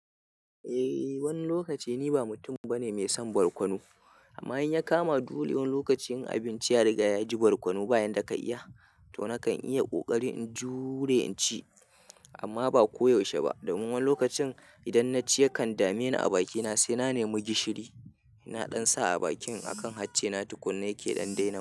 Eh wani lokaci ni ba mutum bane mai son barkono, amma in ya kama dole wani lokacin abinci ya riga ya ji barkono bayan da ka iya, to nakan iya kokari in jure in ci. Amma ba koyaushe ba, domin wani lokacin idan na ci yakan dame ni a bakina sai na nemi gishiri. Na ɗan sa a bakin akan hattena tukunna yake ɗan daina min.